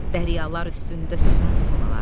Dəryalar üstündə süzən sonalar.